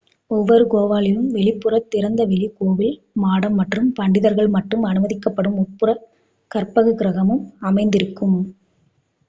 ஓவ்வொரு கோவிலிலும் வெளிப்புற திறந்த வெளி கோவில் மாடம் மற்றும் பண்டிதர்கள் மட்டும் அனுமதிக்கப்படும் உட்புற கற்பகிரஹமும் அமைந்திருக்கும்